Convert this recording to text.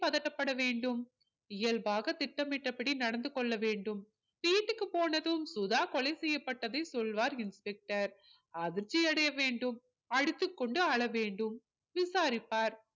பதட்டப்பட வேண்டும் இயல்பாக திட்டமிட்டபடி நடந்து கொள்ள வேண்டும் வீட்டுக்கு போனதும் சுதா கொலை செய்யப்பட்டதை சொல்வார் inspector அதிர்ச்சி அடைய வேண்டும் அடித்துக்கொண்டு அழ வேண்டும் விசாரிப்பார்